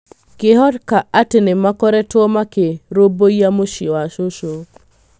Ngĩhoka atĩ nĩ makorĩtũo makĩrũmbũiyia mũciĩ wa cũcũ.